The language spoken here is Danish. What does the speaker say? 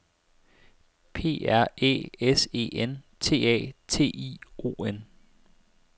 P R Æ S E N T A T I O N